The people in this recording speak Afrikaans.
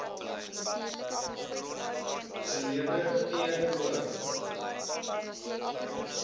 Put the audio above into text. gelewer t o